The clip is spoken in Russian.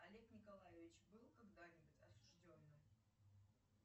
олег николаевич был когда нибудь осужденным